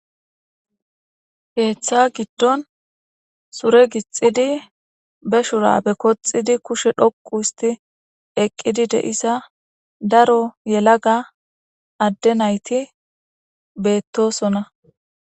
heeththa giddon sure gixxidi be shura be koxidi kushe dhoqu histi eqqidi de7isa daro yelaga adde nayti beettosona